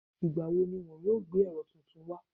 Ìgbà wo ni wọn yóò gbé ẹ̀rọ tuntun wá?